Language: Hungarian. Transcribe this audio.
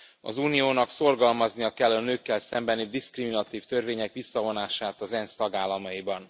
Az Uniónak szorgalmaznia kell a nőkkel szembeni diszkriminatív törvények visszavonását az ENSZ tagállamaiban.